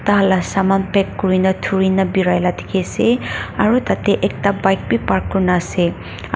tahan la saman pack kurina thaurina birai la dikhiase aro tatae ekta bike ni park kurina ase aro--